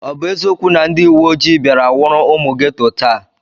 Ọ bụ eziokwu na ndị uweoji bịara nwụrụ ụmụ geto taa?